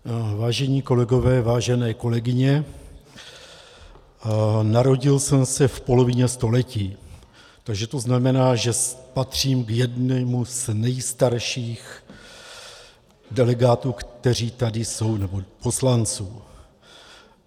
Vážení kolegové, vážené kolegyně, narodil jsem se v polovině století, takže to znamená, že patřím k jedněm z nejstarších delegátů, kteří tady jsou, nebo poslanců.